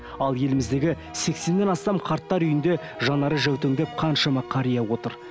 ал еліміздегі сексеннен астам қарттар үйінде жанары жәутеңдеп қаншама қария отыр